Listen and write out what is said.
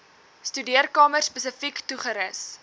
studeerkamer spesifiek toegerus